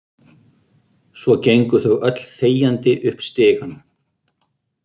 Svo gengu þau öll þegjandi upp stigann.